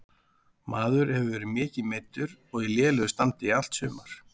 Maður hefur verið mikið meiddur og í lélegu standi í allt sumar.